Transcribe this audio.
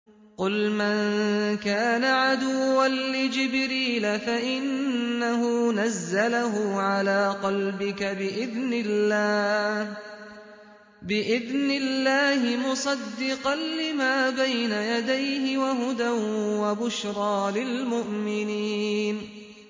قُلْ مَن كَانَ عَدُوًّا لِّجِبْرِيلَ فَإِنَّهُ نَزَّلَهُ عَلَىٰ قَلْبِكَ بِإِذْنِ اللَّهِ مُصَدِّقًا لِّمَا بَيْنَ يَدَيْهِ وَهُدًى وَبُشْرَىٰ لِلْمُؤْمِنِينَ